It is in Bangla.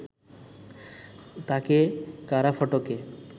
তাঁকে কারা ফটকে